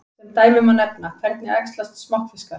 Sem dæmi má nefna: Hvernig æxlast smokkfiskar?